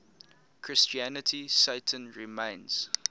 christianity satan remains